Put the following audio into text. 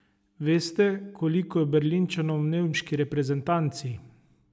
Veste, koliko je Berlinčanov v nemški reprezentanci?